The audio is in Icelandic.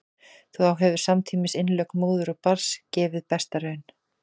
þá hefur samtímis innlögn móður og barns gefið besta raun